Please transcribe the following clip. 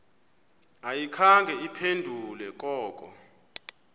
ayikhange iphendule koko